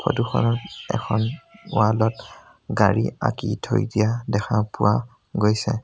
Photo খনত এখন wall ত গাড়ী আঁকি থৈ দিয়া দেখা পোৱা গৈছে।